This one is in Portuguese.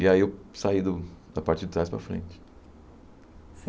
E aí eu saí do da parte de trás para a frente.